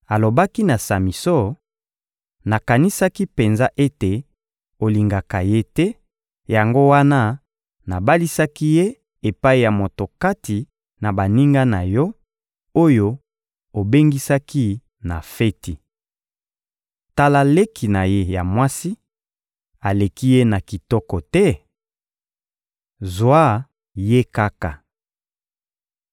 Alobaki na Samison: — Nakanisaki penza ete olingaka ye te, yango wana nabalisaki ye epai ya moko kati na baninga na yo, oyo obengisaki na feti. Tala leki na ye ya mwasi, aleki ye na kitoko te? Zwa ye kaka.